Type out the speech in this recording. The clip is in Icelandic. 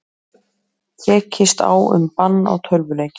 Tekist á um bann á tölvuleikjum